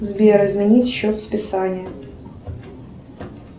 сбер изменить счет списания